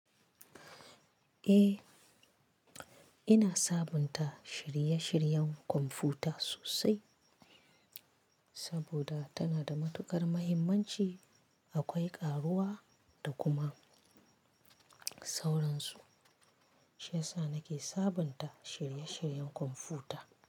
Eh, ina sabunta shirye-shiryen kwamfuta sosai saboda tana da matukar muhimmanci. Akwai ƙaruwa da kuma sauransu, shi ya sa nake sabunta shirye-shiryen kwamfuta.